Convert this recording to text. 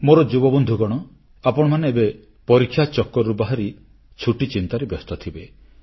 ମୋର ଯୁବବନ୍ଧୁଗଣ ଆପଣମାନେ ଏବେ ପରୀକ୍ଷା ଚକ୍କରରୁ ବାହାରି ଛୁଟି ଚିନ୍ତାରେ ବ୍ୟସ୍ତ ଥିବେ